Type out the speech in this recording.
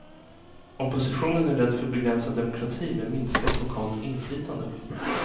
Oppositionen är rädd för begränsad demokrati med minskat lokalt inflytande.